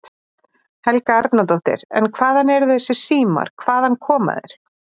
Helga Arnardóttir: En hvaðan eru þessir símar, hvaðan koma þeir?